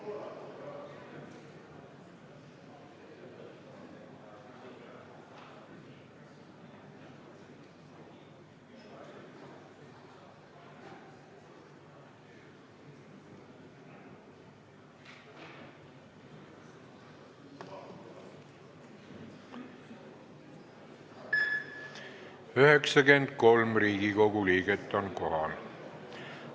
Kohaloleku kontroll 93 Riigikogu liiget on kohal.